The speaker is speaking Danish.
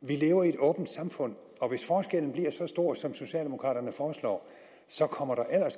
vi lever i et åbent samfund og hvis forskellen bliver så stor som socialdemokraterne foreslår så kommer der